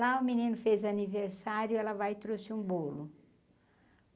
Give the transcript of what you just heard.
Lá o menino fez aniversário, ela vai e trouxe um bolo.